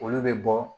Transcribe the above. Olu bɛ bɔ